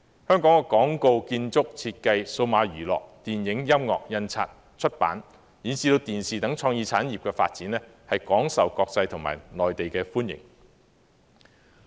香港的廣告、建築、設計、數碼娛樂、電影、音樂、印刷、出版及電視等創意產業的發展廣受國際和內地歡迎。